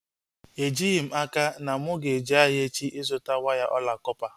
Ejighị m n'aka ma mụ aga-eje ahịa echi ịzụta waya ọla kọpa